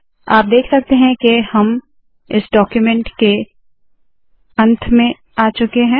आप देख सकते है के हम इस डाक्यूमेन्ट के अंत में आ चुके है